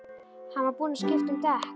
Hann var búinn að skipta um dekk.